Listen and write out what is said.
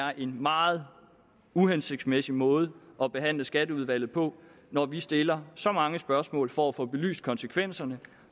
er en meget uhensigtsmæssig måde at behandle skatteudvalget på når vi stiller så mange spørgsmål for at få belyst konsekvenserne